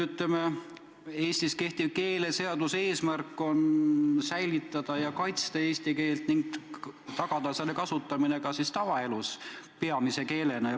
Minu teada on Eestis kehtiva keeleseaduse eesmärk säilitada ja kaitsta eesti keelt ning tagada selle kasutamine ka tavaelus peamise keelena.